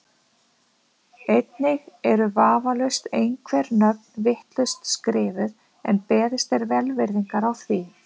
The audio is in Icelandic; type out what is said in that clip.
Einnig eru vafalaust einhver nöfn vitlaust skrifuð en beðist er velvirðingar á því.